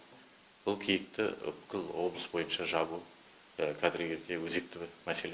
бұл киікті бүкіл облыс бойынша жабылып қазіргі кезде өзекті бір мәселе